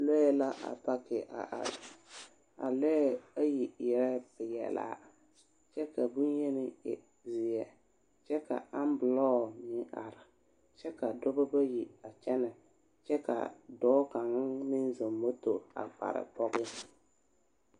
lɔɛ la apake a are, a lɔɛ ayi eɛ peɛ laa kyɛ ka boŋyeni e zeɛ kyɛ ka ambelɔɔ meŋ are kyɛ ka dɔbɔ bayi aa kyɛnɛ kyɛ ka kyɛka dɔɔ kaŋmeŋzɔŋ moto a kpare pɔge.